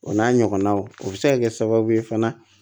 O n'a ɲɔgɔnnaw o bɛ se ka kɛ sababu ye fana